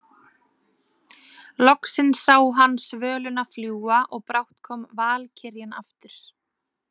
Loksins sá hann svöluna fljúga og brátt kom valkyrjan aftur.